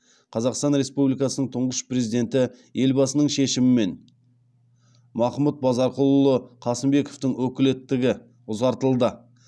қазақстан республикасының тұңғыш президенті елбасының шешімімен махмұд базарқұлұлы қасымбековтің өкілеттігі ұзартылды